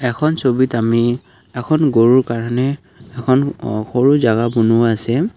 এইখন ছবিত আমি এখন গৰুৰ কাৰণে এখন আহ সৰু জাগা বনুৱা আছে।